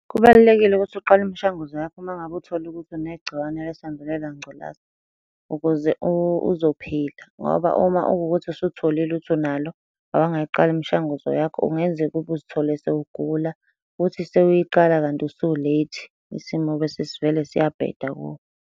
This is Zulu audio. Kubalulekile ukuthi uqale imishanguzo yakho uma ngabe uthola ukuthi negciwane lesandulela ngculaza, ukuze uzophila, ngoba uma ukukuthi usutholile ukuthi unalo awangayiqala imishanguzo yakho, kungenzeka ukube uzithole sewugula, uthi sewuyiqala kanti usu-late, isimo besesivele siyabheda kuwe.